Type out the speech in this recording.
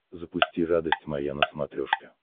запусти радость моя на смотрешке